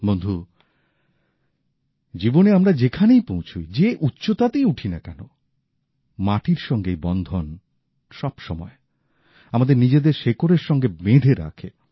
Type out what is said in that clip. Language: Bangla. বন্ধু জীবনে আমরা যেখানেই পৌঁছই যে উচ্চতাতেই উঠি না কেন মাটির সঙ্গে এই বন্ধন সবসময় আমাদের নিজেদের শেকড়ের সঙ্গে বেঁধে রাখে